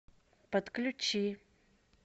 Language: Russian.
подключи